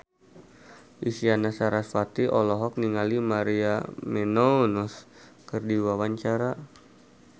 Isyana Sarasvati olohok ningali Maria Menounos keur diwawancara